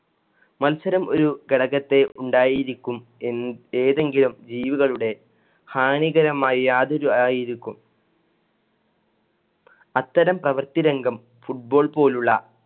മത്സരം ഒരു ഘടകത്തെ ഉണ്ടായിരിക്കും എന്ന് ഏതെങ്കിലും ജീവികളുടെ ഹാനികരമായി യാതൊരു ആയിരിക്കും. അത്തരം പ്രവർത്തി രംഗം football പോലുള്ള